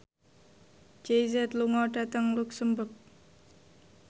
Jay Z lunga dhateng luxemburg